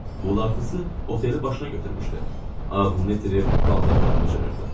Uğultusu oteli başına götürmüşdü, ağlını itirib, paltarlarını cırırdı.